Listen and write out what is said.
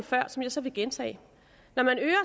før som jeg så vil gentage når man øger